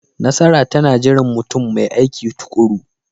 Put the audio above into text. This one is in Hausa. Nasara tana jiran mutum mai aiki tuƙuru.